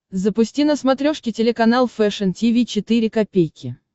запусти на смотрешке телеканал фэшн ти ви четыре ка